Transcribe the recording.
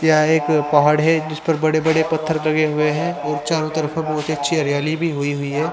यह एक पहाड़ है जिस पर बड़े-बड़े पत्थर लगे हुए हैं और चारों तरफ बहुत अच्छी हरियाली भी हुई हुई है।